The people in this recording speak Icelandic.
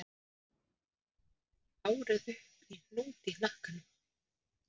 Hún hefur tekið hárið upp í hnút í hnakkanum.